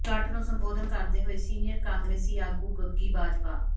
ਇਕੱਠ ਨੂੰ ਸੰਬੋਧਨ ਕਰਦੇ ਹੋਏ ਸੀਨੀਅਰ ਕਾਂਗਰਸੀ ਆਗੂ ਗੱਗੀ ਬਾਜਵਾ